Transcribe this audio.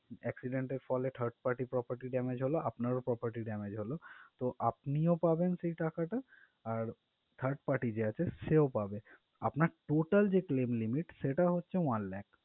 Accident এর ফলে third party property damage হলো আপনার ও property damage হলো তো আপনিও পাবেন সেই টাকা টা আর third party যে আছে সেও পাবে আপনার total যে claim limit সেটা হলো one lakh ।